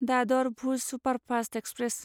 Dadar Bhuj superfast express